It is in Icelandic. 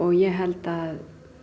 ég held að